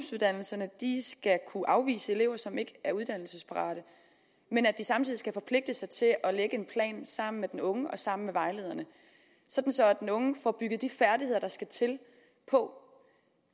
de skal kunne afvise elever som ikke er uddannelsesparate men at de samtidig skal forpligte sig til at lægge en plan sammen med den unge og sammen med vejlederne så den unge får bygget de færdigheder der skal til på